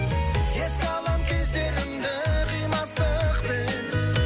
еске алам кездерімді қимастықпен